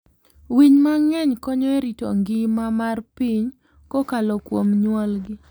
Winy mang'eny konyo e rito ngima mar piny kokalo kuom nyuolgi.